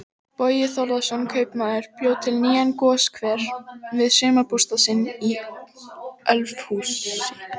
Bogi Þórðarson kaupmaður bjó til nýjan goshver við sumarbústað sinn í Ölfusi.